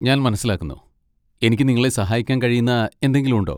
ഞാൻ മനസ്സിലാക്കുന്നു. എനിക്ക് നിങ്ങളെ സഹായിക്കാൻ കഴിയുന്ന എന്തെങ്കിലും ഉണ്ടോ?